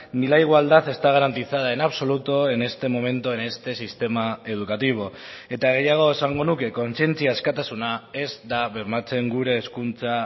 ni la igualdad está garantizada en absoluto en este momento en este sistema educativo eta gehiago esango nuke kontzientzia askatasuna ez da bermatzen gure hezkuntza